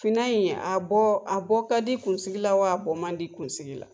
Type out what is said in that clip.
Finan in a bɔ a bɔ ka di kunsigi la wa? a bɔ man di kunsigi la?